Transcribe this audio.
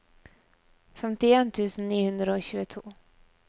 femtien tusen ni hundre og tjueto